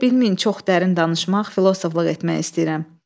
Elə bilməyin çox dərin danışmaq, filosofluq etmək istəyirəm.